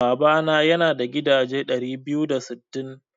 Babana yana da gidaje ɗari biyu da sittin.